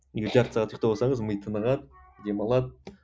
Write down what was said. егер жарты сағат ұйқтап алсаңыз ми тынығады демалады